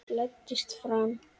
Læddist fram.